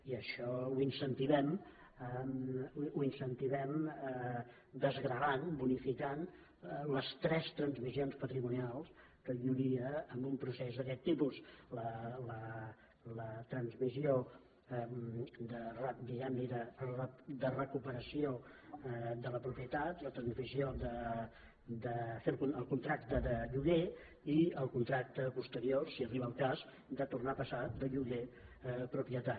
i això ho incentivem ho incentivem desgravant bonificant les tres transmissions patrimonials que hi hauria en un procés d’aquest tipus la transmissió diguem ne de recuperació de la propie tat la transmissió de fer el contracte de lloguer i el contracte posterior si arriba el cas de tornar a passar de lloguer a propietat